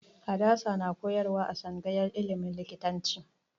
Hadasa na koyarwa a tsangayar ilimin likitanci